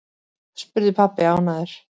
spurði pabbi ánægður.